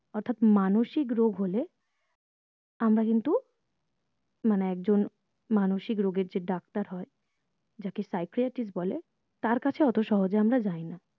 অর্থাৎ মানসিক রোগ হলে আমরা কিন্তু মানে একজন মানসিক রোগের যে ডাক্তার হয় যাকে psychiatrist বলে তার কাছে অত সহজে আমরা যায়না